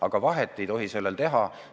Aga vahet ei tohi teha.